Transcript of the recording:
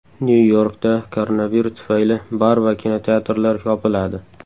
Nyu-Yorkda koronavirus tufayli bar va kinoteatrlar yopiladi.